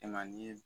E man di